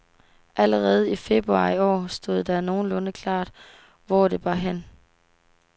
Allerede i februar i år stod det nogenlunde klart, hvor det bar hen.